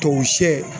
Tuwawu sɛ